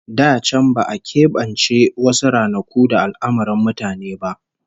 Da can ba'a kebance wasu ranaku da al'amurran mutane ba